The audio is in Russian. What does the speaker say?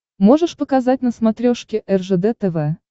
можешь показать на смотрешке ржд тв